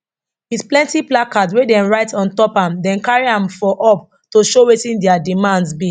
wit plenti placards wey dem write ontop am dem carry am for up to show wetin dia demands be